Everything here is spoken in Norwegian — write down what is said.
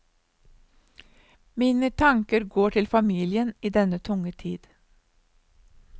Mine tanker går til familien i denne tunge tid.